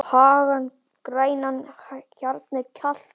á hagann grænan, hjarnið kalt